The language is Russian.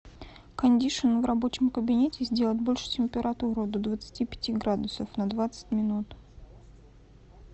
кондишн в рабочем кабинете сделать больше температуру до двадцати пяти градусов на двадцать минут